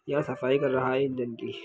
यह सफाई कर रहा है एक दिन की--